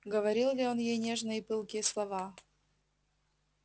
говорил ли он ей нежные и пылкие слова